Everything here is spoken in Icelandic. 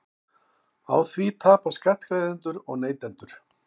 Á því tapa skattgreiðendur og neytendur